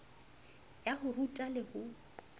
ya ho ruta le ho